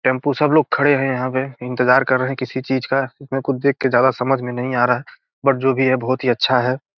Tempo सब लोग खड़े हैं यहां पे इंतजार कर रहे है किसी चीज़ का इसमें देख के समझ नहीं आ रहा हैं बट जो भी है बहुत ही अच्छा है।